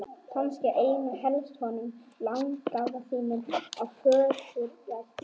Kannski einna helst honum langafa þínum í föðurætt.